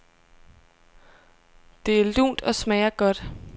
Det er lunt og smager godt.